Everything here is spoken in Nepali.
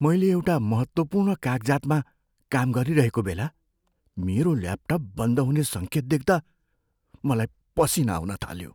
मैले एउटा महत्त्वपूर्ण कागजातमा काम गरिरहेको बेला मेरो ल्यापटप बन्द हुने सङ्केत देख्दा मलाई पसिना आउन थाल्यो।